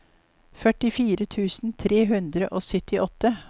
førtifire tusen tre hundre og syttiåtte